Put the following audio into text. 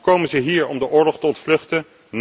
Komen ze hier om de oorlog te ontvluchten?